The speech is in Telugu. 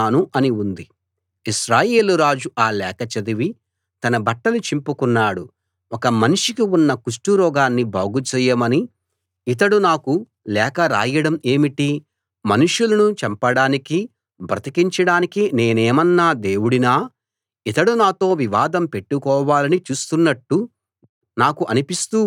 ఇశ్రాయేలు రాజు ఆ లేఖ చదివి తన బట్టలు చింపుకున్నాడు ఒక మనిషికి ఉన్న కుష్టురోగాన్ని బాగు చేయమని ఇతడు నాకు లేఖ రాయడం ఏమిటి మనుషులను చంపడానికీ బ్రతికించడానికీ నేనేమన్నా దేవుడినా ఇతడు నాతో వివాదం పెట్టుకోవాలని చూస్తున్నట్టు నాకు అనిపిస్తూ ఉంది అన్నాడు